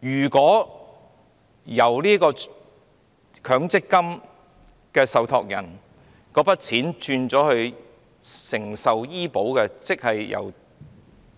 如果把交給受託人的強積金轉為購買醫保，即是由